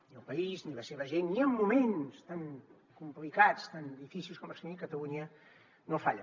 ni el país ni la seva gent ni en moments tan complicats tan difícils com els tenim catalunya no falla